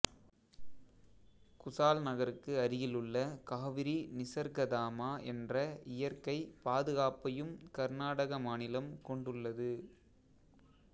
குசால்நகருக்கு அருகிலுள்ள காவிரி நிசர்கதாமா என்ற இயற்கை பாதுகாப்பையும் கர்நாடக மாநிலம் கொண்டுள்ளது